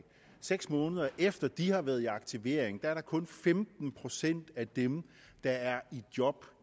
seks måneder efter at de har været i aktivering er der kun femten procent af dem der er i job